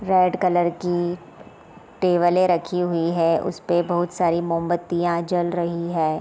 Red colour की टेबले रखी हुई है उसपे बहुत सारी मोमबत्तियाँ जल रही है ।